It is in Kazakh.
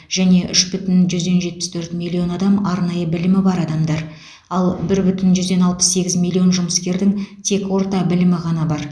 және үш бүтін жүзден жетпіс төрт миллион адам арнайы білімі бар адамдар ал бір бүтін жүзден алпыс сегіз миллион жұмыскердің тек орта білімі ғана бар